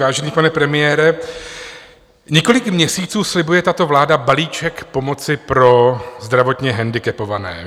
Vážený pane premiére, několik měsíců slibuje tato vláda balíček pomoci pro zdravotně handicapované.